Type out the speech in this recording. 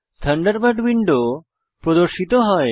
Thunderbird window প্রদর্শিত হয়